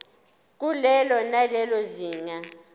kulelo nalelo zinga